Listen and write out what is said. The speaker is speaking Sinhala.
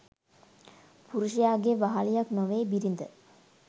පුරුෂයාගේ වහළියක් නොවේ බිරිඳ